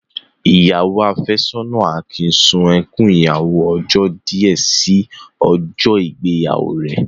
Ìyàwó áfẹ́sọ́nà Akin sun ẹkún ìyàwó ọjọ́ díẹ̀ sí ọjọ́ ìgbéyàwó rẹ̀.